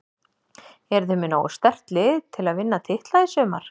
Eruð þið með nógu sterkt lið til að vinna titla í sumar?